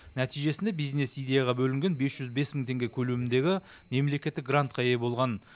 нәтижесінде бизнес идеяға бөлінген бес жүз бес мың теңге көлеміндегі мемлекеттік грантқа ие болған